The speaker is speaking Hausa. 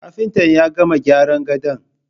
Kafintan ya gama gyaran gadon